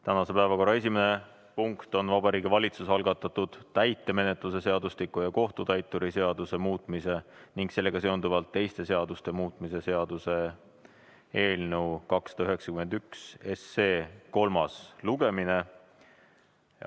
Tänase päevakorra esimene punkt on Vabariigi Valitsuse algatatud täitemenetluse seadustiku ja kohtutäituri seaduse muutmise ning sellega seonduvalt teiste seaduste muutmise seaduse eelnõu 291 kolmas lugemine.